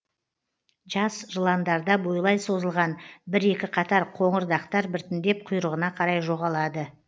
жас жыландарда бойлай созылған бір екі қатар қоңыр дақтар біртіндеп құйрығына қарай жоғалады